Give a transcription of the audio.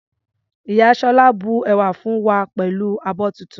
Ìyá Sola bu ẹ̀wà fún wa pẹ̀lú abọ́ tuntun.